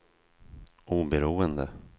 oberoende